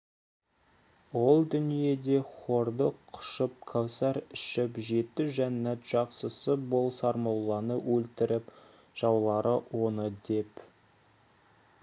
ол дүниеде хорды құшып кәусар ішіп жеті жәннат жақсысы бол сармолланы өлтіріп жаулары оны деп